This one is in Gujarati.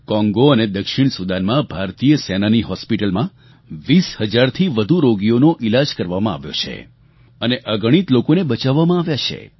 કોંગો અને દક્ષિણ સુદાનમાં ભારતીય સેનાનાં હોસ્પિટલમાં 20 હજારથી વધુ રોગીઓનો ઈલાજ કરવામાં આવ્યો છે અને અગણિત લોકોને બચાવવામાં આવ્યા છે